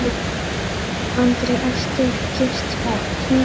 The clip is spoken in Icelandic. Andri: Ertu ekkert smeykur?